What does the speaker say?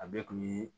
A bɛɛ kun ye